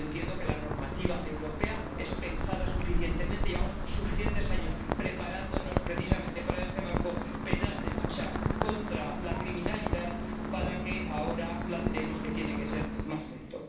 Entiendo que la normativa europea está lo suficientemente pensada. Llevamos suficientes años preparándonos precisamente para ese marco penal de lucha contra la criminalidad, y ahora no debemos plantear que tiene que ser más lento.